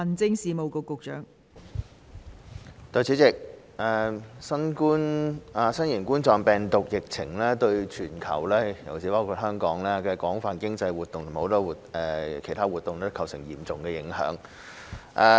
代理主席，新型冠狀病毒疫情對全球，包括香港廣泛的經濟和其他活動均構成嚴重影響。